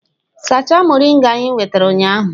Sachaa moringa anyị nwetara ụnyaahụ!